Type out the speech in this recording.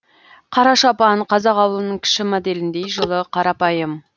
қара шапан қазақ ауылының кіші моделіндей жылы қарапайым